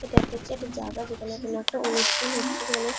এটা একটা হচ্ছে এটা জাগা যেখানে কিনা একটা অনুষ্ঠান হচ্ছে যেখানে--